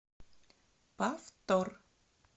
повтор